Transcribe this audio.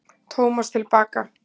Tómas til baka.